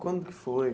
Quando que foi?